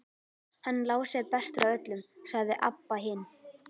Hann Lási er bestur af öllum, sagði Abba hin.